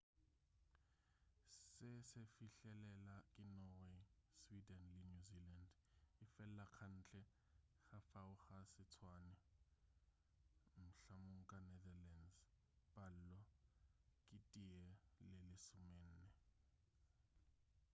se se fihlelela ke norway swede le new zealand efela kantle ga fao ga se tswane mhl. ka netherlands palo ke tee go lesomenne